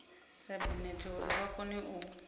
sabinete uri vha kone u